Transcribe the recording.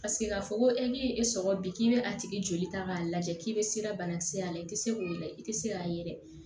Paseke k'a fɔ ko e min ye e sɔgɔ bi k'i bɛ a tigi joli ta k'a lajɛ k'i bɛ se banakisɛ y'a la i tɛ se k'o la i tɛ se k'a ye dɛ